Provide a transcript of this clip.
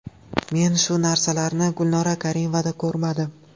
Men shu narsalarni Gulnora Karimovada ko‘rmadim.